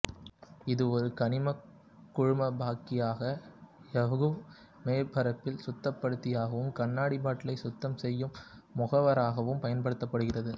இது ஒரு கனிமக் குழம்பாக்கியாக எஃகு மேற்பரப்பில் சுத்தப்படுத்தியாகவும் கண்ணாடி பாட்டில்களைச் சுத்தம் செய்யும் முகவராகவும் பயன்படுத்தப்படுகிறது